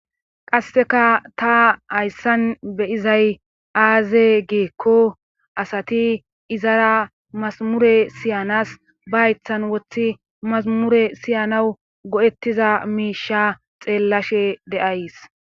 qasseka ta hayssan beyizay aaze geekko asati izara masamure siyanas ba haythan woththi masamure siyanawu go7ettiza miisha xeellashe deays